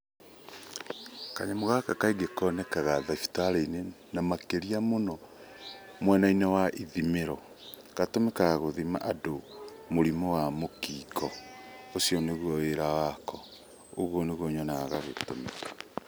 Kanyamũ gaka kaingĩ konekaga thibitarĩinĩ na makĩria mũno mwenainĩ wa ithimĩro. Gatũmĩkaga gũthima andũ mũrimũ wa mũkingo ũcio nĩguo wĩra wako, ũguo nĩguo nyonaga gagĩtũmĩka.